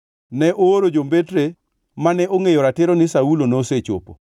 ne ooro jombetre mane ongʼeyo ratiro ni Saulo nosechopo.